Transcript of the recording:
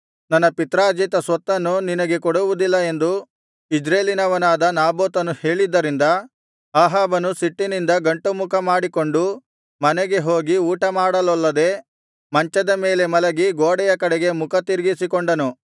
ನನ್ನ ಪಿತ್ರಾರ್ಜಿತ ಸ್ವತ್ತನ್ನು ನಿನಗೆ ಕೊಡುವುದಿಲ್ಲ ಎಂದು ಇಜ್ರೇಲಿನವನಾದ ನಾಬೋತನು ಹೇಳಿದ್ದರಿಂದ ಅಹಾಬನು ಸಿಟ್ಟಿನಿಂದ ಗಂಟುಮುಖ ಮಾಡಿಕೊಂಡು ಮನೆಗೆ ಹೋಗಿ ಊಟಮಾಡಲೊಲ್ಲದೆ ಮಂಚದ ಮೇಲೆ ಮಲಗಿ ಗೋಡೆಯ ಕಡೆಗೆ ಮುಖ ತಿರುಗಿಸಿಕೊಂಡನು